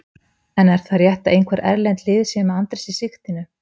En er það rétt að einhver erlend lið séu með Andrés í sigtinu?